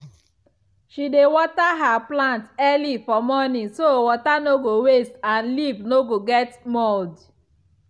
she dey water her plants early for morning so water no go waste and leaf no go get mold.